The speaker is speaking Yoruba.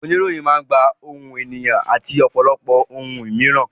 Oníròyìn máa gba ìròyìn nípa ohun, ènìyàn, àti ọ̀pọ̀lọpọ̀ àwọn ohun mìíràn.